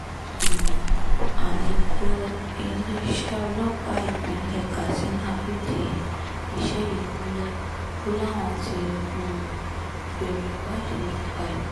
um alūkrọ́ iléeṣẹ́ ọlọ́pàá ìpínlẹ̀ katsina fìdí ìṣẹ̀lẹ̀ yìí múlẹ̀ o láwọn ti um bẹ̀rẹ̀ ìwádìí nípa ẹ̀